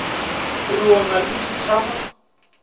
re o na le dithama